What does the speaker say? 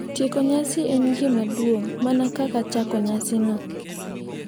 Tieko nyasi en gima duong’ mana kaka chako nyasino,